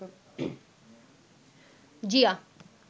Zia